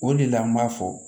O de la an b'a fɔ